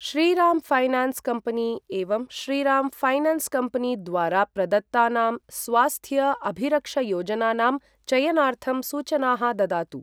Shriram finance company एवं Shriram finance company द्वारा प्रदत्तानां स्वास्थ्य अभिरक्षायोजनानां चयनार्थं सूचनाः ददातु।